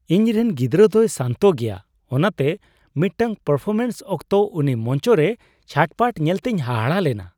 ᱤᱧ ᱨᱮᱱ ᱜᱤᱫᱽᱨᱟᱹ ᱫᱚᱭ ᱥᱟᱱᱛᱚ ᱜᱮᱭᱟ, ᱚᱱᱟᱛᱮ ᱢᱤᱫᱴᱟᱝ ᱯᱟᱨᱯᱷᱚᱨᱢᱮᱱᱥ ᱚᱠᱛᱚ ᱩᱱᱤ ᱢᱚᱧᱪᱚᱨᱮ ᱪᱷᱟᱴᱯᱟᱴ ᱧᱮᱞᱛᱮᱧ ᱦᱟᱦᱟᱲᱟᱜ ᱞᱮᱱᱟ ᱾